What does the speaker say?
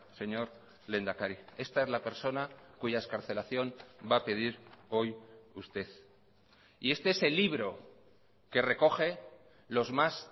señor lehendakari esta es la persona cuya excarcelación va a pedir hoy usted y este es el libro que recoge los más